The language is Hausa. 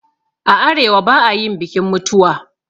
A arewa ba'ayin bikin mutuwa